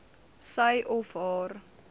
sy of haar